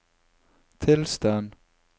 tilstand